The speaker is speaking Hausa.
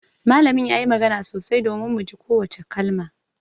Malamin ya yi magana sosai domin mu ji kowace kalma